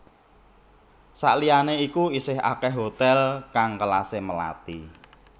Sakliyane iku isih akeh hotel kang kelase melati